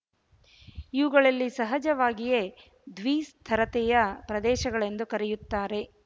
ಇವುಗಳಲ್ಲಿ ಸಹಜವಾಗಿಯೇ ದ್ವಿಸ್ತರತೆಯ ಪ್ರದೇಶಗಳೆಂದು ಕರೆಯುತ್ತಾರೆ